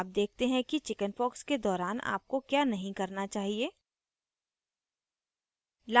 अब देखते हैं कि chickenpox के दौरान आपको क्या नहीं करना चाहिए